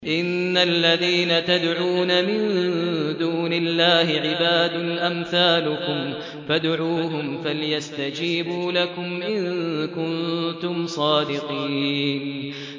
إِنَّ الَّذِينَ تَدْعُونَ مِن دُونِ اللَّهِ عِبَادٌ أَمْثَالُكُمْ ۖ فَادْعُوهُمْ فَلْيَسْتَجِيبُوا لَكُمْ إِن كُنتُمْ صَادِقِينَ